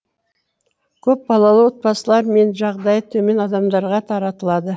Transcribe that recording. көпбалалы отбасылар мен жағдайы төмен адамдарға таратылады